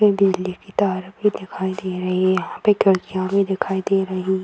में बिजली की तार भी दिखाई दे रही यहां पे खिड़कियाँ भी दिखाई दे रही --